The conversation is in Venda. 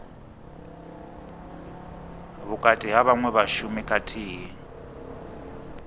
vhukati ha vhaṅwe vhashumi khathihi